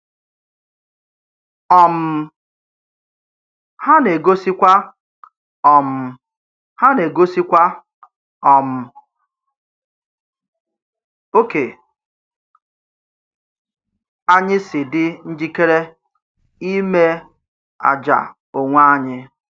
um Ha na-egosikwa um Ha na-egosikwa um ókè anyị si dị njikere ime àjà onwe anyị.